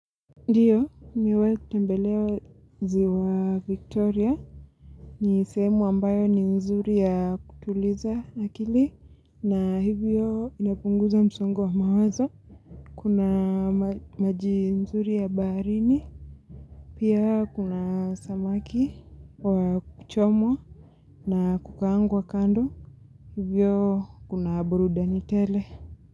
Ndiyo, nimewai kutembelea ziwa Victoria. Ni sehemu ambayo ni nzuri ya kutuliza akili. Na hivyo inapunguza msongo wa mawazo. Kuna maji nzuri ya baharini. Pia kuna samaki wa kuchomwa. Na kukaangwa kando. Hivyo kuna burudani tele.